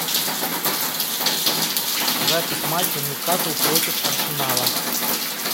запись матча ньюкасл против арсенала